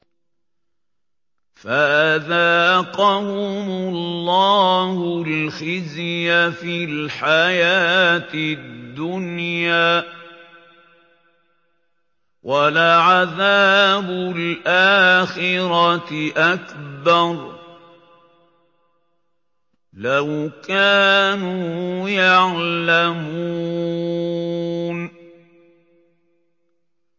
فَأَذَاقَهُمُ اللَّهُ الْخِزْيَ فِي الْحَيَاةِ الدُّنْيَا ۖ وَلَعَذَابُ الْآخِرَةِ أَكْبَرُ ۚ لَوْ كَانُوا يَعْلَمُونَ